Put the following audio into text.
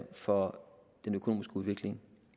for den økonomiske udvikling